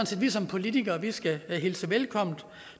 set vi som politikere skal hilse velkommen